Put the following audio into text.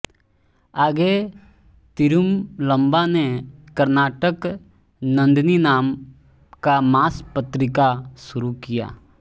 आगे तिरुमलम्बा ने कर्नाटक नंदिनी नाम का मास पत्रिका शुरू किया